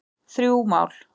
Þrjú mál